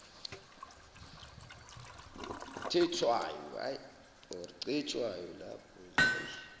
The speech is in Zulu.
tetshwayo